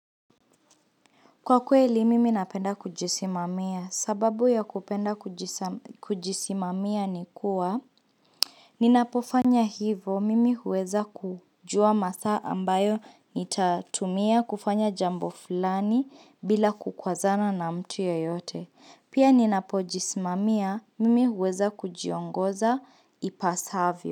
Kwa kweli mimi napenda kujisimamia, sababu ya kupenda kujisimamia ni kuwa Ninapofanya hivo, mimi huweza kujua masaa ambayo nitatumia kufanya jambo fulani bila kukwazana na mtu yeyote Pia ninapojisimamia, mimi huweza kujiongoza ipasavyo.